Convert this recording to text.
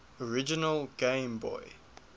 original game boy